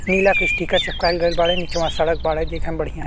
नीला के स्टीकर चिपकाइल गइल बाड़े। निचआ सड़क बाड़े देखे में बढ़िया।